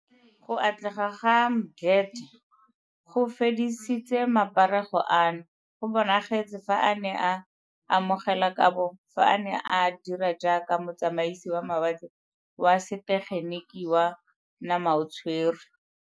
Go atlega ga Mdletshe go fedisitse maparego ano, go bonagetse fa a ne a amogela kabo fa a ne a dira jaaka motsamaisi wa mawatle wa setegeniki wa namaotshwe re.